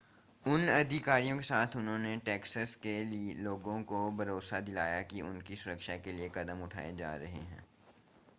उन अधिकारियों के साथ उन्होंने टेक्सास के लोगों को भरोसा दिलाया कि उनकी सुरक्षा के लिए कदम उठाए जा रहे हैं